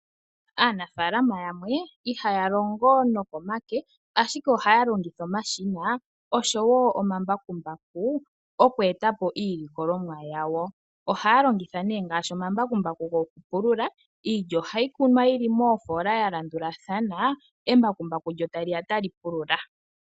Aanafaalama yamwe ihaya longo komake, ashike ohaya longitha omashina oshowo omambakumbaku oku eta po iilikolomwa yawo. Ohaya longitha ngaashi omambakumbaku gokupulula. Iilya ohayi kunwa yi li moofoola ya landulathana, embakumbaku lyo ta li ya ta li pulula.